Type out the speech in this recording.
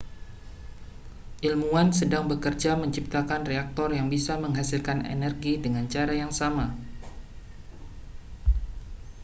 ilmuwan sedang bekerja menciptakan reaktor yang bisa menghasilkan energi dengan cara yang sama